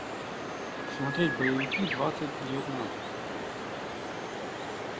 смотреть боевики двадцать девятнадцать